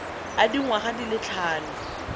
a dingwaga di le tlhano